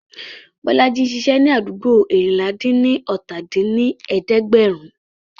Bọ́lájí ń ṣiṣẹ́ ní àdúgbò eérinlá-dín-ní-ọ́ta dín ní ẹ̀ẹ́dẹ́gbẹ́rún